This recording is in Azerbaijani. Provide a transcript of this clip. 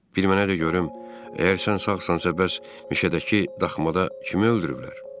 Bir mənə də görüm, əgər sən sağsansansa bəs mişədəki daxmada kimi öldürüblər?